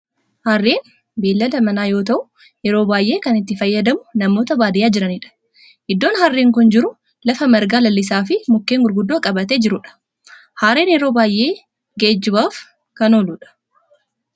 Harreen beellada manaa yoo ta'u yeroo baayyee kan itti fayyadamu namoota baadiyaa jiranidha. Iddoon harreen kun jiru lafa marga lalisaa fi mukkeen gurguddoo qabatee jirudha. Harreen yeroo baayyee geejjibaaf kan ooludha.